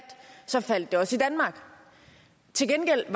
faldt det også i danmark til gengæld